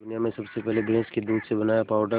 दुनिया में सबसे पहले भैंस के दूध से बनाया पावडर